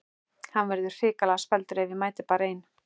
Hann verður hrikalega spældur ef ég mæti bara ein!